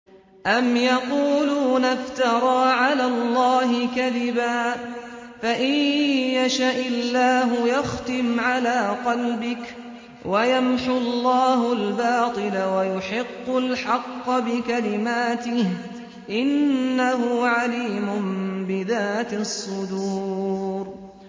أَمْ يَقُولُونَ افْتَرَىٰ عَلَى اللَّهِ كَذِبًا ۖ فَإِن يَشَإِ اللَّهُ يَخْتِمْ عَلَىٰ قَلْبِكَ ۗ وَيَمْحُ اللَّهُ الْبَاطِلَ وَيُحِقُّ الْحَقَّ بِكَلِمَاتِهِ ۚ إِنَّهُ عَلِيمٌ بِذَاتِ الصُّدُورِ